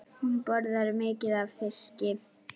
Hún borðar mikið af fiski.